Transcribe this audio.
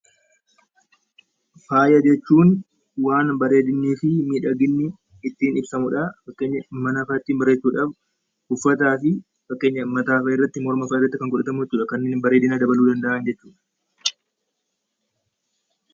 Faaya jechuun waan bareedinni fi miidhaginni ittiin ibsamudha yookiin mana fa'aa ittiin bareechuuf uffataa fi mataa fa'aa irratti kan godhatamu jechuudha, kanneen bareedina ooluu danda'an jechuudha.